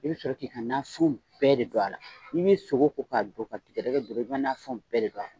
I bɛ sɔrɔ k'i ka nafɛnw bɛɛ de don a la.I bɛ sogo ko k'a don ka tigɛdɛgɛ don a la , i bɛ nafɛnw bɛ de don a la.